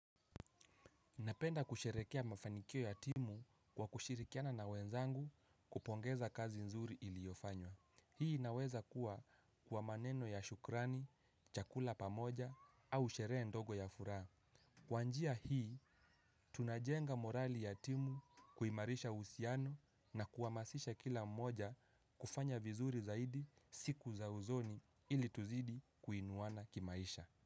Napenda kusherehekea mafanikio ya timu kwa kushirikiana na wenzangu kupongeza kazi nzuri iliyofanywa. Hii inaweza kuwa kwa maneno ya shukrani, chakula pamoja au sherehe ndogo ya furaha. Kwa njia hii, tunajenga morali ya timu kuimarisha husiano na kuhamasisha kila mmoja kufanya vizuri zaidi siku za uzoni ili tuzidi kuinuwana kimaisha.